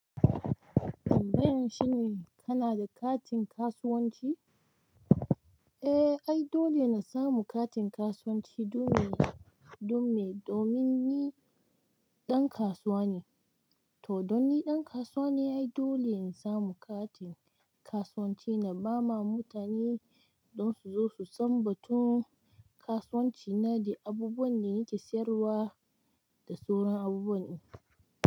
Wannan shine kana da katin kasuwanci? Eh, ai dole na samu katin kasuwanci dolene domin, domin ni ɗan kasuwa ne. To, don ni ɗan kasuwa ne ai dole in samu katin kasuwanci na ba ma mutane don su zo su sanbatu kasuwanci na da abubuwan da nake sayarwa da sauran abubuwa ne.